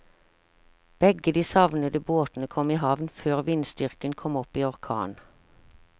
Begge de savnede båtene kom i havn før vindstyrken kom opp i orkan.